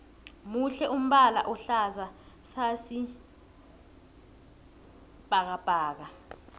muhle umbala ohlaza sasi bhakabhaka